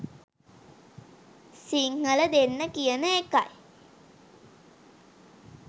සිංහල දෙන්න කියන එකයි